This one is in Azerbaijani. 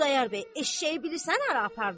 Xudayar bəy, eşşəyi bilirsən hara apardı?